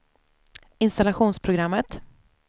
installationsprogrammet